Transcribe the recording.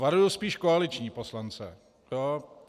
Varuji spíš koaliční poslance.